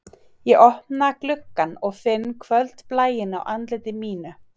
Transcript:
Ég opna gluggann og finn kvöldblæinn á andliti mínu